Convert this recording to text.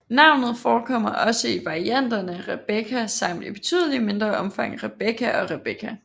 Navnet forekommer også i varianterne Rebecca samt i betydeligt mindre omfang Rebecka og Rebeca